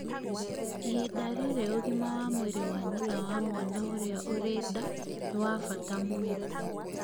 ihinda rĩrĩ, ũgima wa mwĩrĩ wa nyina na mwana ũrĩa ũrĩ nda nĩ wa bata mũno